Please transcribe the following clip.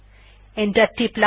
enter টিপলাম